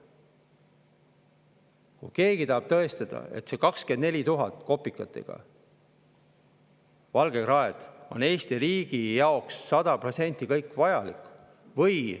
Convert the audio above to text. Kas keegi tahab tõestada, et kõik 24 000 kopikatega valgekraed on Eesti riigi jaoks sada protsenti vajalikud?